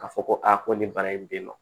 Ka fɔ ko aa ko nin bana in b'i ma